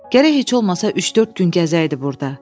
Gərək heç olmasa üç-dörd gün gəzəydi burda.